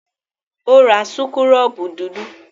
Ó ra súkúrọ́bù dúdú?